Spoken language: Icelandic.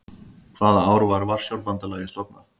Hvaða ár var Varsjárbandalagið stofnað?